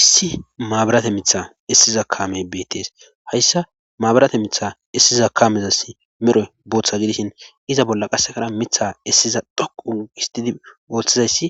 Issi maabirate mitha issiza kaamey beettees hayssa maabirate mitha issiza kaamezassi mero booththa gidishin iza bolla qassekara mitha issiza dhoqu gistidi wothizayssi